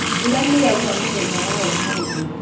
Mbura nĩyaura mũthenya wa ũmũthĩ